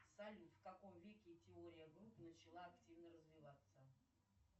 салют в каком веке теория групп начала активно развиваться